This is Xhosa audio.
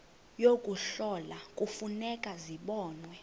yokuhlola kufuneka zibonwe